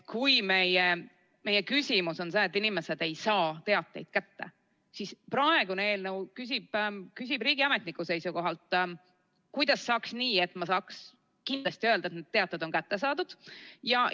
Kui meie küsimus on see, miks inimesed ei saa teateid kätte, siis praegune eelnõu küsib riigiametniku seisukohalt: kuidas saaks teha nii, et ma saaks kindlasti öelda, et need teated on kätte saadud?